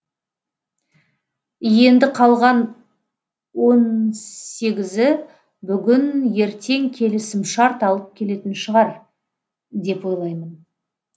енді қалған он сегізі бүгін ертең келісімшарт алып келетін шығар деп ойлаймын